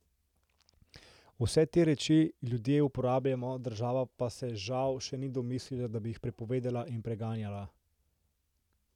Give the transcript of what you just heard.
Vse te reči ljudje uporabljamo, država pa se, žal, še ni domislila, da bi jih prepovedala in preganjala.